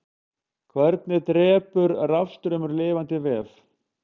hvernig drepur rafstraumur lifandi vef